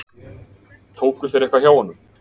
Tóku þeir eitthvað hjá honum?